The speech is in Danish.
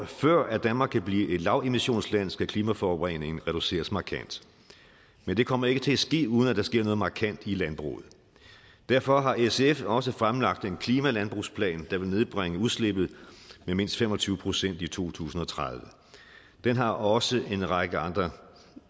før danmark kan blive et lavemissionsland skal klimaforureningen reduceres markant men det kommer ikke til at ske uden at der sker noget markant i landbruget derfor har sf også fremlagt en klimalandbrugsplan der vil nedbringe udslippet med mindst fem og tyve procent i to tusind og tredive den har også en række andre